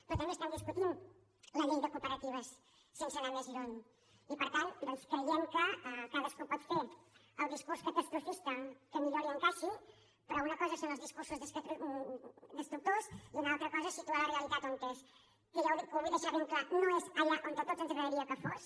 però també estem discutint la llei de cooperatives sense anar més lluny i per tant doncs creiem que cadascú pot fer el discurs catastrofista que millor li encaixi però una cosa són els discursos destructors i una altra cosa és situar la realitat on és que ho vull deixar ben clar no és allà on a tots ens agradaria que fos